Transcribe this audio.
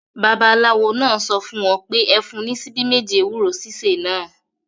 Babaláwo náà sọ fún wọn pé; Ẹ fún un ní ṣíbí méjì ewúro sísè náà.